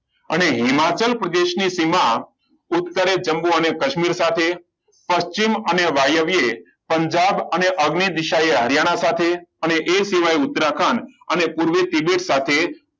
અને હિમાચલ પ્રદેશ ને તેમાં ઉત્તરે જંબુ અને કાશ્મીર સાથે પશ્ચિમ અને વાયવ્ય પંજાબ અને અગ્નિ દેસાઈ હરિયાણા સાથે અને એ સિવાય ઉત્તરાખંડ અને પુર ત્રિવેટ સાથે